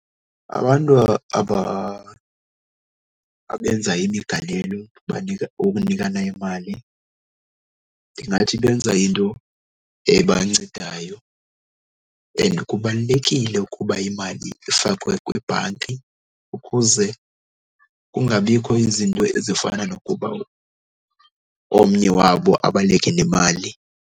Abantu abenza imigalelo banika, wokunikana imali ndingathi benza into ebancedayo. And kubalulekile ukuba imali ifakwe kwibhanki ukuze kungabikho izinto ezifana nokuba omnye wabo abaleke nemali.